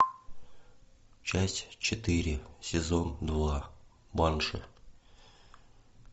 часть четыре сезон два банши